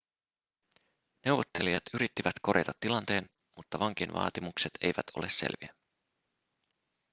neuvottelijat yrittivät korjata tilanteen mutta vankien vaatimukset eivät ole selviä